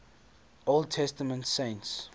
old testament saints